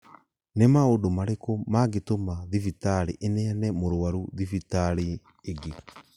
Nĩ maũndũ marĩkũ mangĩtũma thibitarĩ ĩneane mũrũaru thibitarĩ ĩngĩ?